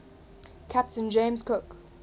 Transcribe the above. captain james cook